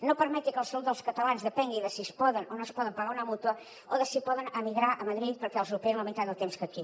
no permeti que la salut dels catalans depengui de si es poden o no es poden pagar una mútua o de si poden emigrar a madrid perquè els operin en la meitat del temps que aquí